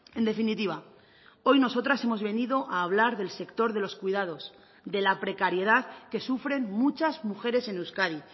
en definitiva hoy nosotras hemos venido a hablar del sector de los cuidados de la precariedad que sufren muchas mujeres en euskadi